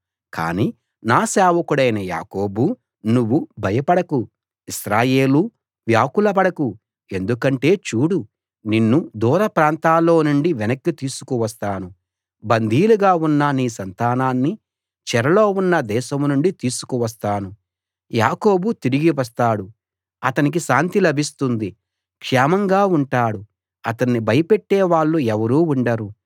కానీ నా సేవకుడవైన యాకోబూ నువ్వు భయపడకు ఇశ్రాయేలూ వ్యాకుల పడకు ఎందుకంటే చూడు నిన్ను దూర ప్రాంతాల్లోనుండి వెనక్కి తీసుకు వస్తాను బందీలుగా ఉన్న నీ సంతానాన్ని చెరలో ఉన్న దేశం నుండి తీసుకు వస్తాను యాకోబు తిరిగి వస్తాడు అతనికి శాంతి లభిస్తుంది క్షేమంగా ఉంటాడు అతణ్ణి భయపెట్టే వాళ్ళు ఎవరూ ఉండరు